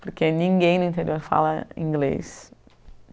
Porque ninguém no interior fala inglês.